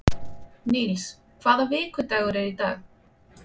Níls, hvaða vikudagur er í dag?